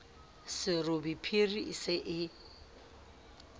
serobe phiri e se e